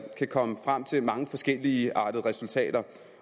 kan komme frem til mange forskelligartede resultater